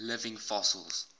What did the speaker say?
living fossils